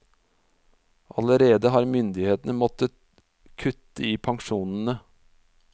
Allerede har myndighetene måttet kutte i pensjonene.